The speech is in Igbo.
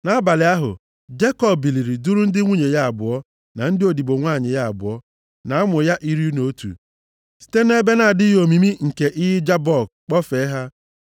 Nʼabalị ahụ, Jekọb biliri duru ndị nwunye ya abụọ na ndị odibo nwanyị ya abụọ, na ụmụ ya iri na otu, site nʼebe na-adịghị omimi nke iyi Jabọk kpọfee ha.